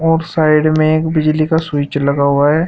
और साइड में एक बिजली का स्विच लगा हुआ है।